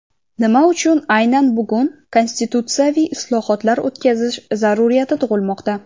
Nima uchun aynan bugun konstitutsiyaviy islohotlar o‘tkazish zarurati tug‘ilmoqda?.